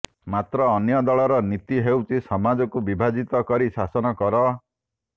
ମାତ୍ର ଅନ୍ୟ ଦଳର ନୀତି ହେଉଛି ସମାଜକୁ ବିଭାଜିତ କରି ଶାସନ କର